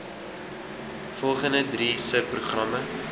volgende drie subprogramme